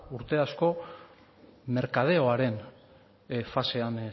urte asko merkadeoaren fasean